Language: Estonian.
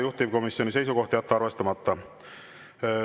Juhtivkomisjoni seisukoht on jätta arvestamata.